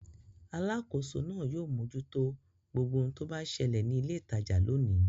Alákòóso náà yóò mójútó gbogbo ohun tó bá ṣẹlẹ̀ ní ilé-ìtajà lónìí.